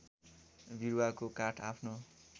बिरुवाको काठ आफ्नो